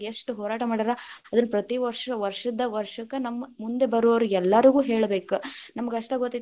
ಎಷ್ಟು ಹೋರಾಟ ಮಾಡ್ಯಾರ, ಅದರ ಪ್ರತಿವಷು೯ ವಷ೯ದ್ದ ವಷ೯ಕ್ ನಮ್‌ ಮುಂದ ಬರುವವಿ೯ಗೆಲ್ಲಾಗು೯ ಹೇಳಬೇಕ ನಮಗಷ್ಟ ಗೊತ್ತೈತಿ.